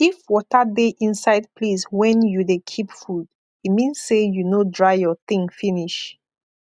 if water dey inside place wen you de keep food e mean say you no dry your thing finish